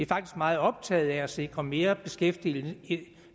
faktisk meget optaget af at sikre mere beskæftigelse